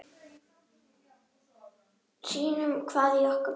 Sýnum hvað í okkur býr.